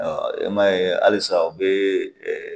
I m'a ye halisa u bɛ